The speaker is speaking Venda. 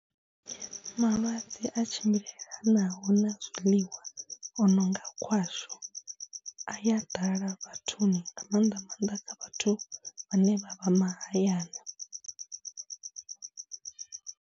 Malwadze a tshimbilelanaho na zwiḽiwa o no nga khwasho a ya ḓala vhathuni nga maanḓa maanḓa kha vhathu vhane vha vha mahayani.